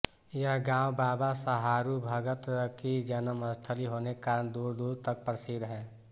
यह गाँव बाबा सहारू भगत की जन्मस्थली होने के कारण दूर दूर तक प्रसिद्ध है